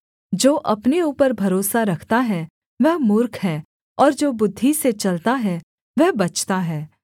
जो अपने ऊपर भरोसा रखता है वह मूर्ख है और जो बुद्धि से चलता है वह बचता है